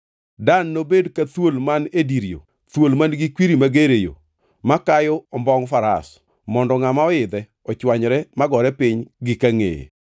Dan nobed ka thuol man e dir yo, thuol man-gi kwiri mager e yo, ma kayo ombongʼ Faras mondo ngʼama oidhe ochwanyre magore piny gi kangʼeye.